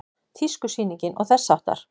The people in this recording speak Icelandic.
Tískusýningar og þess háttar?